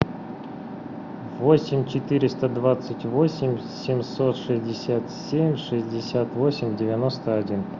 восемь четыреста двадцать восемь семьсот шестьдесят семь шестьдесят восемь девяносто один